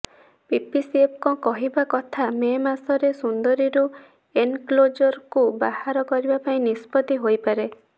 ପିସିସିଏଫଙ୍କ କହିବା କଥା ମେ ମାସରେ ସୁନ୍ଦରୀରୁ ଏନକ୍ଲୋଜରକୁ ବାହାର କରିବାପାଇଁ ନିଷ୍ପତି ହୋଇପାରେ